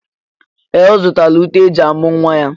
Ee! Ọ zụtala uté e ji amụ̀ nwa ya.